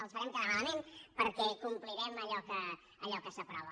els farem quedar malament perquè complirem allò que s’aprova